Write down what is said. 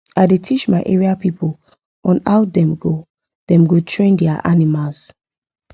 i da teach my area people on how them go them go train their animals